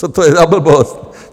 Co to je za blbost!